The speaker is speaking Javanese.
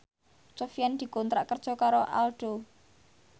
Sofyan dikontrak kerja karo Aldo